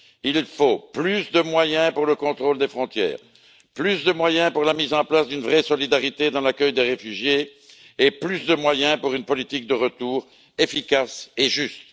Il faut plus de moyens pour le contrôle des frontières, plus de moyens pour la mise en place d'une vraie solidarité dans l'accueil des réfugiés et plus de moyens pour une politique de retour efficace et juste.